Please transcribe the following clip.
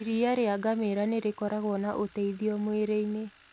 Iria rĩa ngamĩra nĩrĩkoragũo na ũteithio mũĩrĩini.